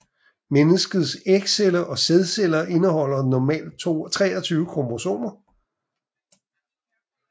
Menneskets ægceller og sædceller indeholder normalt 23 kromosomer